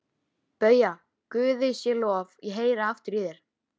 BAUJA: Guði sé lof, ég heyri aftur í þér!